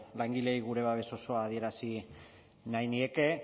langileei gure babes osoa adierazi nahi nieke